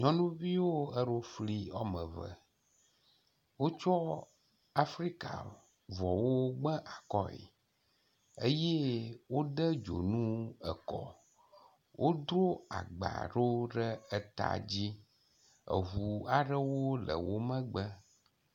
Nyɔnuviwo eɖo fli wɔme eve. Wotsɔ Afrikavɔwo gba akɔe eye wode dzonu ekɔ. Wodo agba ɖewo ɖe eta dzi. Eŋu aɖewo le wo megbe.